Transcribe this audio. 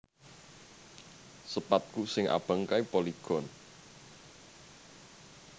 Sepadku sing abang kae Polygon